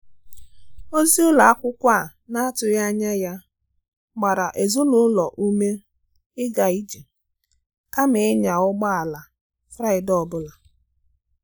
Ozi ụlọ akwụkwọ a na-atụghị anya ya gbara ezinụlọ ume ịga ije kama ịnya ụgbọ ala Fraịde ọ bụla.